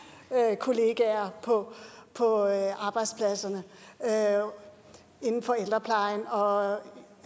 kollegaer på arbejdspladserne inden for ældreplejen og